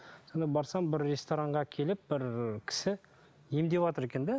сонда барсам бір ресторанға келіп бір кісі емдеватыр екен де